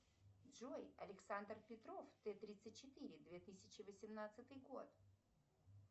джой александр петров т тридцать четыре две тысячи восемнадцатый год